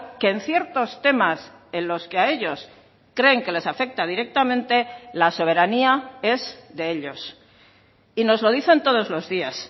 que en ciertos temas en los que a ellos creen que les afecta directamente la soberanía es de ellos y nos lo dicen todos los días